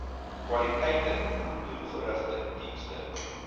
kwaliteiten doelgerigte diens